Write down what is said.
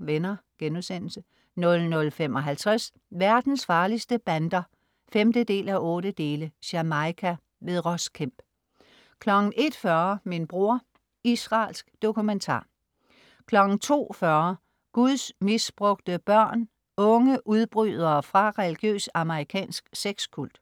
Venner* 00.55 Verdens farligste bander 5:8 Jamaica. Ross Kemp 01.40 Min bror. Israelsk dokumentar 02.40 Guds misbrugte børn. unge udbrydere fra religiøs amerikansk sex-kult